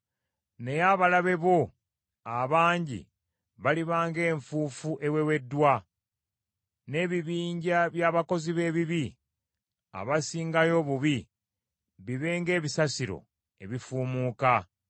Naye abalabe bo abangi baliba ng’enfuufu eweweddwa, n’ebibinja by’abakozi b’ebibi abasingayo obubi bibe ng’ebisasiro ebifuumuuka.